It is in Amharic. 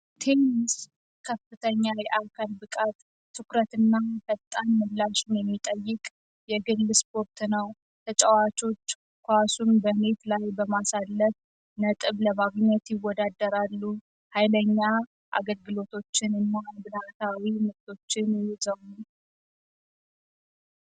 ቴኒስ ከፍተኛ የአካል ብቃት ትኩረት እና ፈጣን ምላሽ ነው የሚጠይቅ የግል ስፖርት ነው። ተጫዋቾች ኳሱን በኔት ላይ በማሳለፍ ነጥብ ለማግኘት ይወዳደራሉ። ኃይለኛ አገልግሎቶችን